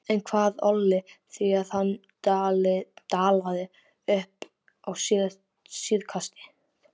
En hvað olli því að hann dalaði upp á síðkastið?